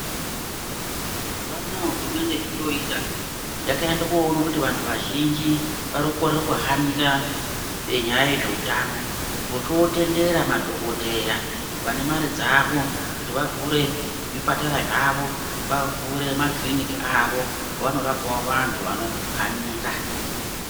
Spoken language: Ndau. Mazuva anaa hurumende zvoyooita, yakaende khoone kuti vanthu vazhinji vari kukorere koohanira nyaya yezveutano, vochootendera madhokodheya vane mare dzavo kuti vavhure zvipatara zvavo, vavhure kiriniki avo avanorapawo vanthu vanohanira.